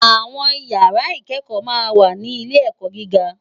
Awòn ìyàrá ikèékò mà n wá ni ilé èkò gigá